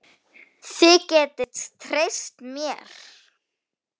Þið getið treyst mér.